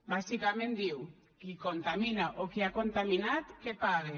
bàsicament diu qui contamina o qui ha contaminat que pague